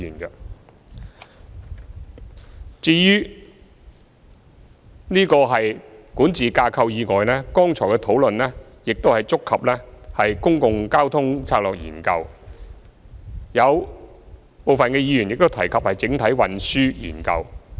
除了管治架構以外，剛才的討論亦觸及《公共交通策略研究》，有部分議員亦提及整體運輸研究。